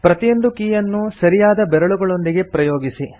ಪ್ರತಿಯೊಂದು ಕೀಯನ್ನೂ ಸರಿಯಾದ ಬೆರಳುಗಳೊಂದಿಗೆ ಪ್ರಯೋಗಿಸಿ